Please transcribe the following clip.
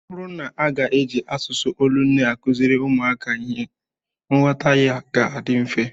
Ọ bụrụ na a ga-eji asụsụ olu nne akụziri ụmụaka ihe, nghọta ya ga-adị mfe